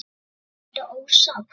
Sindri: Ertu ósátt?